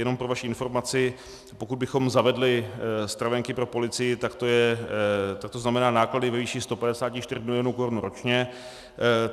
Jenom pro vaši informaci, pokud bychom zavedli stravenky pro policii, tak to znamená náklady ve výši 154 milionů korun ročně.